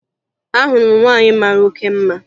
Ahụrụ m nwaanyị mara oke mma